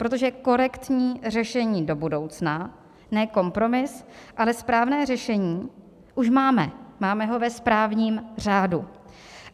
Protože korektní řešení do budoucna, ne kompromis, ale správné řešení už máme - máme ho ve správním řádu.